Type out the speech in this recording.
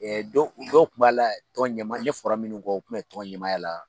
Dɔw tun b'a la tɔn ɲama ne fɔra minnu kɔ o tun bɛ tɔn ɲɛmaaya la